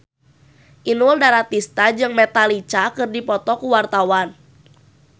Inul Daratista jeung Metallica keur dipoto ku wartawan